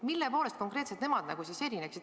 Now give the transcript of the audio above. Mille poolest konkreetselt nemad erineksid?